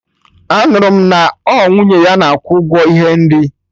Anụrụ m na ọ nwunye ya na akwụ ụgwọ ihe nri